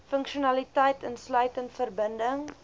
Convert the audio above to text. funksionaliteit insluitend verbinding